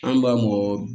An b'a mɔgɔ